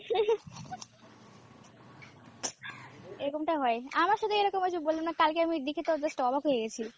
এরকমটা হয়, আমার সাথেই এরকম হয়েছে বললাম না, কালকে আমি দেখেতো just অবাক হয়ে গেছি।